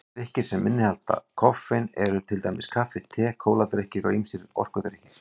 Drykkir sem innihalda koffein eru til dæmis kaffi, te, kóladrykkir og ýmsir orkudrykkir.